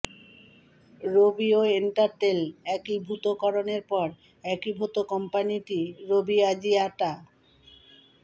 রবি ও এয়ারটেল একীভূতকরণের পর একীভূত কোম্পানিটি রবি আজিয়াটা